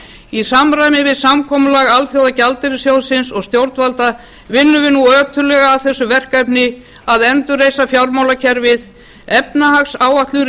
í samræmi við samkomulag alþjóðagjaldeyrissjóðsins og stjórnvalda vinnum við nú ötullega að þessu verkefni að endurreisa fjármálakerfið efnahagsáætlun